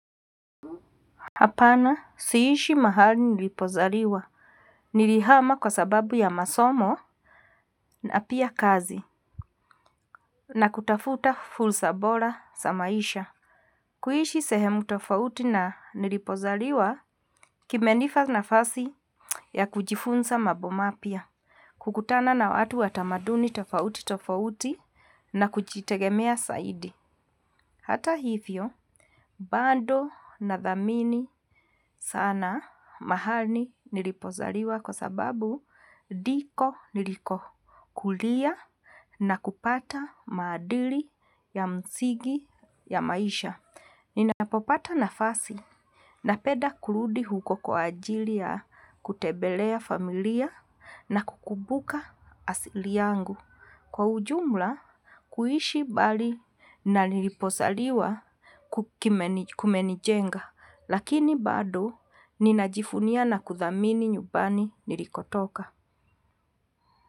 Hapana siishi mahali nilipozaliwa nilihama kwa sababu ya masomo napia kazi na kutafuta fursa bora za maisha. Kuishi sehemu tofauti na nilipozaliwa kimenipa nafasi ya kujifunza mambo mapya. Kukutana na watu wa tamaduni tofauti tofauti na kujitegemea zaidi. Hata hivyo, bado nadhamini sana mahali nilipozaliwa kwa sababu ndiko niliko kulia na kupata maadili ya msingi ya maisha. Ninapopata nafasi, napenda kurudi huko kwa ajili ya kutembelea familia na kukumbuka asili yangu. Kwa ujumla, kuishi mbali na nilipozaliwa kumenijenga, lakini bado ninajivunia na kuthamini nyumbani nilikotoka.